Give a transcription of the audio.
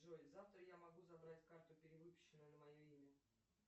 джой завтра я могу забрать карту перевыпущенную на мое имя